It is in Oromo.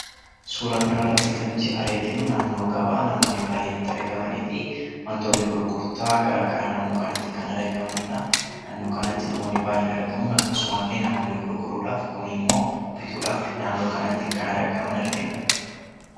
Suuraa kana irratti kan nuti arginu naannoo gabaa namoonni baay'een itti argamanii fi wantoonni gurgurtaa garaagaraa naannoo kanatti kan argamanii dha. Naannoo kanatti namoonni baay'ee ni argamu. Akkasuma illee namoonni gurguruudhaaf, kuun immoo bituudhaaf naannoo kanatti kan argaman argina.